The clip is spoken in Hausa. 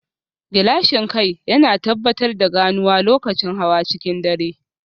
Gilashin kai yana tabbatar da ganuwa lokacin hawa cikin dare